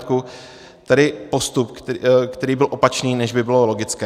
Tedy postup, který byl opačný, než by bylo logické.